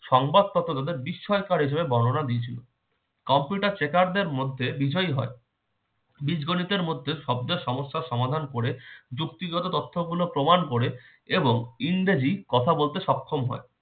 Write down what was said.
সংবাদপত্র তাদের বিস্ময়কর হিসাবে বর্ণনা দিয়েছিল। computer tracker দের মধ্যে বিজয়ী হয়। বীজগণিতের মধ্যে সবগুলো সমস্যার সমাধান করে যুক্তিগত তথ্যগুলো প্রমাণ করে এবং ইংরেজি কথা বলতে সক্ষম হয়।